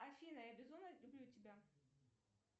афина я безумно люблю тебя